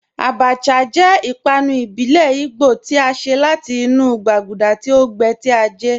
Àbàchà jẹ́ ìpànù ìbílẹ̀ Ìgbò tí a ṣẹ̀ láti inú gbàgúdà tí o gbẹ́, tí a gẹ́